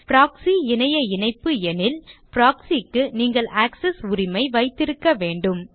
proxy இணைய இணைப்பு எனில் proxy க்கு நீங்கள் ஆக்செஸ் உரிமை வைத்திருக்க வேண்டும்